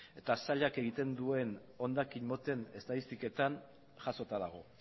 eta sailak egiten duen hondakin moten estatistiketan jasota dago